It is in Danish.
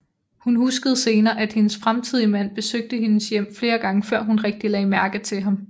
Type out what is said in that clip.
Hun huskede senere at hendes fremtidige mand besøgte hendes hjem flere gange før hun rigtig lagde mærke til ham